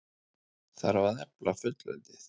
Þarf að efla fullveldið?